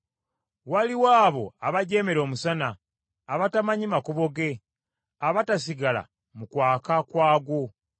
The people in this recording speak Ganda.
“Waliwo abo abajeemera omusana, abatamanyi makubo ge, abatasigala mu kwaka kwagwo.